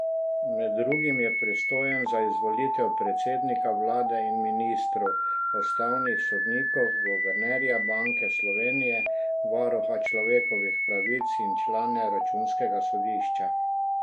Med drugim je pristojen za izvolitev predsednika vlade in ministrov, ustavnih sodnikov, guvernerja Banke Slovenije, varuha človekovih pravic in člane računskega sodišča.